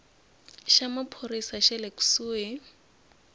xa maphorisa xa le kusuhi